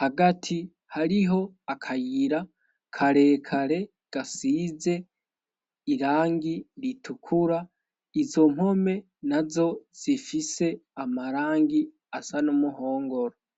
hagati hariho akayira karekare gasize irangi ritukura izo mpome na zo zifise amarangi asa n'umuhongoro